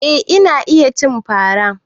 Eh ina iya cin fara.